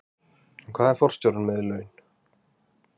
En hvað er forstjórinn með í laun?